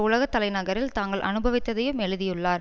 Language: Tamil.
உலக தலைநகரில் தாங்கள் அனுபவித்ததையும் எழுதியுள்ளார்